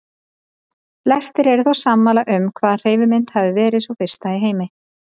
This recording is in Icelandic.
Flestir eru þó sammála um hvaða hreyfimynd hafi verið sú fyrsta í heimi.